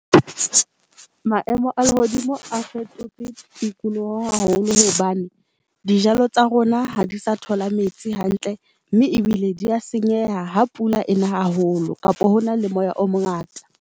Maemo a lehodimo a fetotse tikoloho haholo hobane dijalo tsa rona ha di sa thola metsi hantle mme ebile di a senyeha ha pula ena haholo kapo hona le moya o mongata.